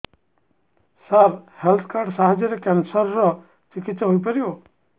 ସାର health card ସାହାଯ୍ୟରେ cancer ର ଚିକିତ୍ସା ହେଇପାରିବ